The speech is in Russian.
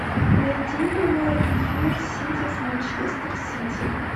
найти прямой эфир сити с манчестер сити